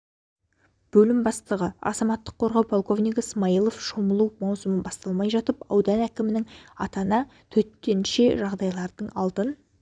бөлім бастығы азаматтық қорғау полковнигі смаилов шомылу маусымы басталмай жатып аудан әкімінің атына төтенше жағдайларды алдын